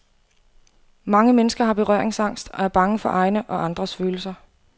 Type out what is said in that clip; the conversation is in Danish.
Mange mennesker har berøringsangst og er bange for egne og andres følelser.